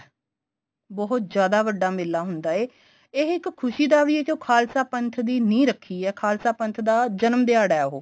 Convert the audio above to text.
ਬਹੁਤ ਜਿਆਦਾ ਵੱਡਾ ਮੇਲਾ ਹੁੰਦਾ ਏ ਇਹ ਇੱਕ ਖੁਸ਼ੀ ਦਾ ਵੀ ਏ ਜੋ ਖਾਲਸਾ ਪੰਥ ਦੀ ਨਿਹ ਰੱਖੀ ਏ ਖਾਲਸਾ ਪੰਥ ਦਾ ਜਨਮ ਦਿਹਾੜਾ ਉਹ